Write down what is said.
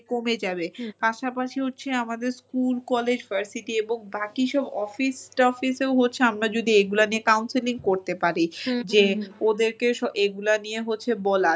কমে যাবে পাশাপাশি হচ্ছে আমাদের school, college, varsity এবং বাকি সব office টফিসেও হচ্ছে আমরা যদি এইগুলা নিয়ে counselling করতে পারি যে ওদেরকে এগুলা নিয়ে হচ্ছে বলা